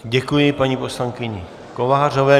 Děkuji paní poslankyni Kovářové.